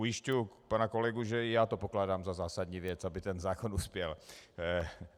Ujišťuji pana kolegu, že i já pokládám za zásadní věc, aby ten zákon uspěl.